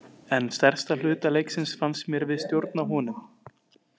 En stærstan hluta leiksins fannst mér við stjórna honum.